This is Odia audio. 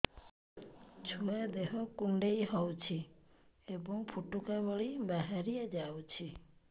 ଛୁଆ ଦେହ କୁଣ୍ଡେଇ ହଉଛି ଏବଂ ଫୁଟୁକା ଭଳି ବାହାରିଯାଉଛି